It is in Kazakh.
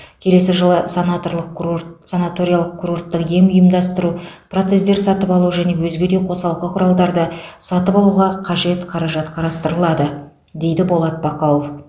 келесі жылы санатрлық курорт санаторлық курорттық ем ұйымдастыру протездер сатып алу және өзге де қосалқы құралдарды сатып алуға қажет қаражат қарастырылады дейді болат бақауов